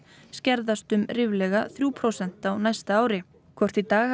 skerðast um ríflega þrjú prósent á næsta ári hvort í dag